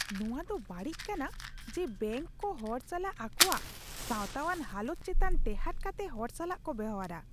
ᱱᱚᱶᱟ ᱫᱚ ᱵᱟᱹᱲᱤᱡ ᱠᱟᱱᱟ ᱡᱮ ᱵᱮᱝᱠ ᱠᱚ ᱦᱚᱲ ᱥᱟᱞᱟᱜ ᱟᱠᱚᱣᱟᱜ ᱥᱟᱶᱛᱟᱣᱟᱱ ᱦᱟᱞᱚᱛ ᱪᱮᱛᱟᱱ ᱴᱮᱦᱟᱸᱰ ᱠᱟᱛᱮᱜ ᱦᱚᱲ ᱥᱟᱞᱟᱜ ᱠᱚ ᱵᱮᱣᱦᱟᱨᱟ ᱾